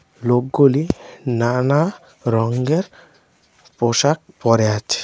লোকগুলি নানা রঙের পোশাক পরে আছে।